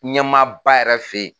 Ɲɛmaaba yɛrɛ fɛ yen